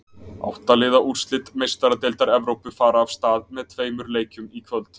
Átta liða úrslit Meistaradeildar Evrópu fara af stað með tveimur leikjum í kvöld.